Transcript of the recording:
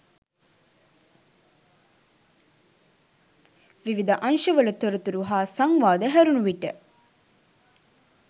විවිධ අංශවල තොරතුරු හා සංවාද හැරුණු විට